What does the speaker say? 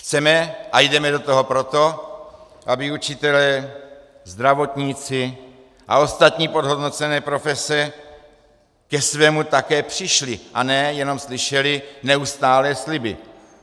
Chceme a jdeme do toho proto, aby učitelé, zdravotníci a ostatní podhodnocené profese ke svému také přišli a ne jenom slyšeli neustálé sliby.